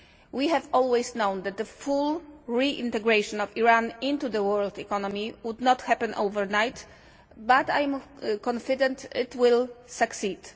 We have always known that the full reintegration of Iran into the world economy would not happen overnight, but I am confident it will succeed.